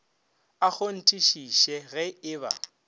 a kgonthišiše ge e ba